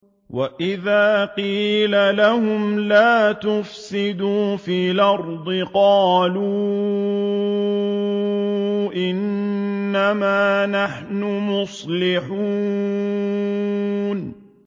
وَإِذَا قِيلَ لَهُمْ لَا تُفْسِدُوا فِي الْأَرْضِ قَالُوا إِنَّمَا نَحْنُ مُصْلِحُونَ